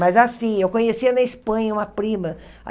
Mas assim, eu conhecia na Espanha uma prima.